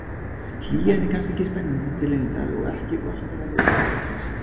Hlýjan er kannski ekki spennandi til lengdar og ekki er gott að verða of værukær.